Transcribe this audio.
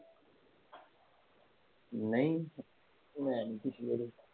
ਨਹੀਂ ਮੈਨੀ ਪੀਤੀ ਅਜੇ